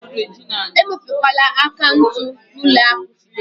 Emepekwala akaụntụ na ụlọ akụ fidelịtị!